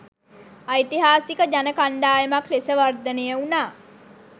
ඓතිහාසික ජන කණ්ඩායමක් ලෙස වර්ධනය වුණා